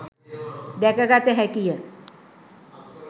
දැක ගත හැකිය.